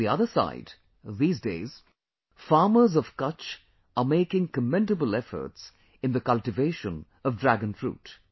On the other side, these days, farmers of Kutch are making commendable efforts in the cultivation of Dragon fruit